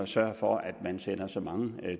sørge for at man sender så mange